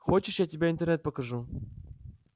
хочешь я тебе интернет покажу